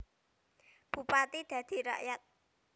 Bupati dadi rakyat